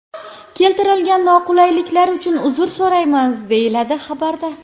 Keltirilgan noqulayliklar uchun uzr so‘raymiz”,deyiladi xabarda.